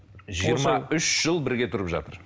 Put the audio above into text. жиырма үш жыл бірге тұрып жатыр